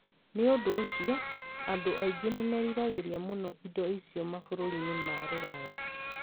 Nĩ ũndũ ũcio, andũ aingĩ nĩ meriragĩria mũno indo icio mabũrũri-inĩ ma Rũraya.